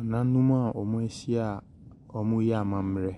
Nananom a ɔmɔ ɛhyɛ ɔmɔ yɛ amammerɛ